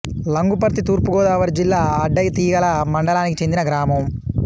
లంగుపర్తి తూర్పు గోదావరి జిల్లా అడ్డతీగల మండలానికి చెందిన గ్రామం